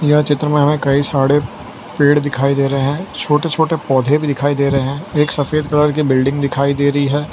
यह चित्र में हमें कई सारे पेड़ दिखाई दे रहे हैं छोटे छोटे पौधे भी दिखाई दे रहे हैं एक सफेद कलर की बिल्डिंग दिखाई दे रही है।